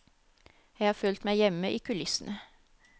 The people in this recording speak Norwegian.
Jeg har følt meg hjemme i kulissene.